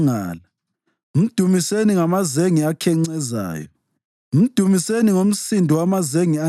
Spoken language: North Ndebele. Mdumiseni ngokutshaya icilongo, mdumiseni ngechacho langomhubhe,